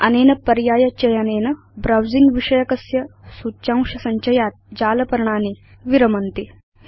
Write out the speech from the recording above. अनेन पर्याय चयनेन ब्राउजिंग विषयकस्य सूच्यांश सञ्चयात् जालपर्णानि विरमन्ति